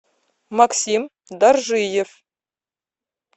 максим даржиев